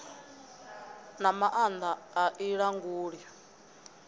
na maanda a i languli